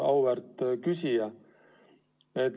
Auväärt küsija!